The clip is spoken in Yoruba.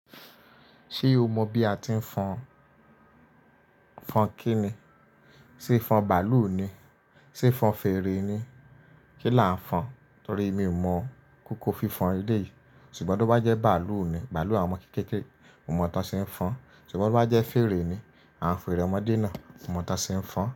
Ṣé o mọ bí a ti ń fọn, fọn kí ni? Sé fọn bàálù ni? Sé fọn fèrè ni? Kí lá ń fọn? Torí mi ò mọ kókó fífan ilé yìí. Ṣùgbọ́n tó bá jẹ́ bàálù ni, bàálù àwọn ọmọ kéékèèké, mo mọ̀ tán ṣe ń fọn. Ṣùgbọ́n bó bá jẹ́ fèrè ni, awon ferẹ́ omọ̀dé náà, mo mọ̀ tán ṣe ń fọn.